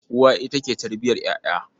Uwa ita ke tarbiyar ƴaƴa.